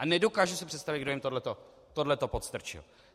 A nedokážu si představit, kdo jim tohle to podstrčil.